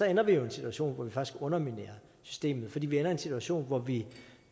ender vi jo i en situation hvor vi faktisk underminerer systemet for vi ender i en situation hvor vi